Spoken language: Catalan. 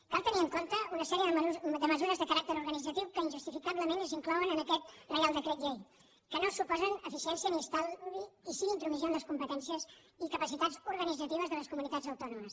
cal tenir en compte una sèrie de mesures de caràcter organitzatiu que injustificablement s’inclouen en aquest reial decret llei que no suposen eficiència ni estalvi i sí intromissió en les competències i capacitats organitzatives de les comunitats autònomes